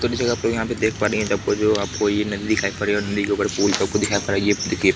और इस जगह पर यहहाँ पर देख पा रहे जो आपको एक नदी दिखाई पड़ेगी नदी के ऊपर आपको पूल दिखाई पड़ेगी ये देखिए।